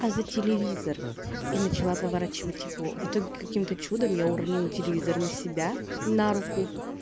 а за телевизор и начала поворачивать его в итоге каким то чудом я уронила телевизор на себя на руку